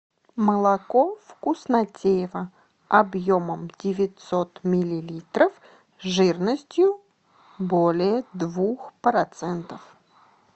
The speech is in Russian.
молоко вкуснотеево объемом девятьсот миллилитров жирностью более двух процентов